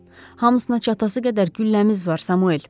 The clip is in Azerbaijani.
Hamsına çatası qədər gülləmiz var, Samuel.